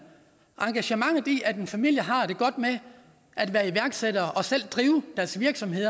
engagementet i det at en familie har det godt med at være iværksættere og selv drive deres virksomhed